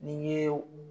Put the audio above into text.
N'i ye u